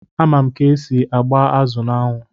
Ama m ka-esi agba azụ n'anwụ.